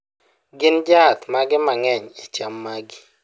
gin jaath mage mang'eny e cham magi